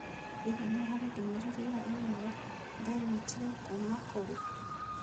Hihi nĩ harĩ ndũmĩrĩri ya i-mīrūa ndanyiitire kuuma kũrĩ?